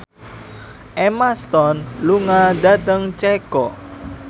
Emma Stone lunga dhateng Ceko